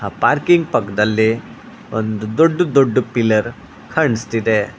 Parking ಪಕ್ಕದಲ್ಲಿ ಒಂದು ದೊಡ್ಡ ದೊಡ್ಡ ಪಿಲ್ಲರ್ ಕಾಣಿಸ್ತಿದೆ.